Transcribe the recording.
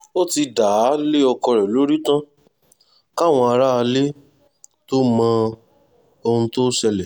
ó ti dá a lé ọkọ lórí tán káwọn aráalé tóo mọ ohun tó ṣe